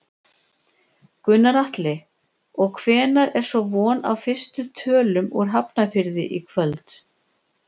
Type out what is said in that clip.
Gunnar Atli: Og hvenær er svo von á fyrstu tölum úr Hafnarfirði í kvöld?